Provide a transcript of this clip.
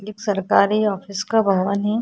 एक सरकारी ऑफिस का भवन है।